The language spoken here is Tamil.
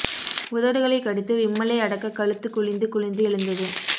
உதடுகளைக் கடித்து விம்மலை அடக்க கழுத்து குழிந்து குழிந்து எழுந்தது